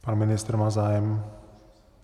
Pan ministr, má zájem?